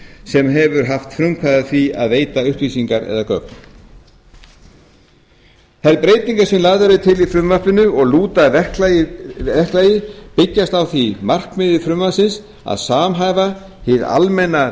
sem hefur haft frumkvæði að því að veita upplýsingar eða gögn þær breytingar sem lagðar eru til í frumvarpinu og lúta að verklagi byggjast á því markmiði frumvarpsins að samhæfa hið almenna